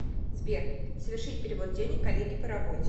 сбер совершить перевод денег коллеге по работе